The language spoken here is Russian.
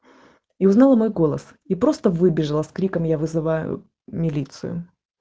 и узнала мой голос и просто выбежала с криком я вызываю милицию